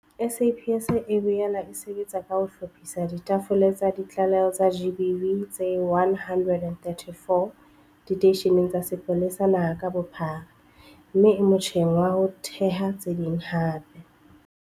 SAPS e boela e sebetsa ka ho hlophisa ditafole tsa ditlaleho tsa GBV tse 134 diteisheneng tsa sepolesa naha ka bophara mme e motjheng wa ho theha tse ding hape.